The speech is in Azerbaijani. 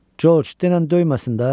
Corc, denən döyməsin də!